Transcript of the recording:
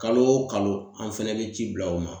Kalo o kalo an fɛnɛ be ci bila o ma